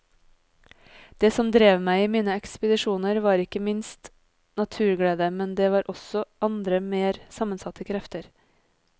Det som drev meg i mine ekspedisjoner var ikke minst naturglede, men det var også andre mer sammensatte krefter.